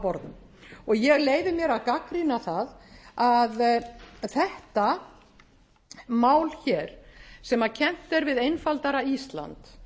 borðum og ég leyfi mér að gagnrýna það að þetta mál hér sem kennt er við einfaldara ísland